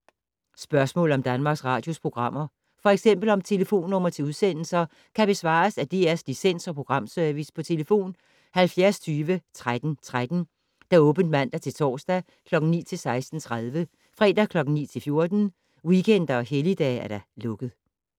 Spørgsmål om Danmarks Radios programmer, f.eks. om telefonnumre til udsendelser, kan besvares af DR Licens- og Programservice: tlf. 70 20 13 13, åbent mandag-torsdag 9.00-16.30, fredag 9.00-14.00, weekender og helligdage: lukket.